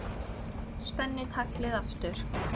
Spenni taglið aftur.